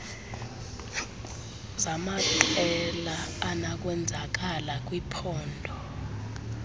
zamaqela anokwenzakala kwiphpondo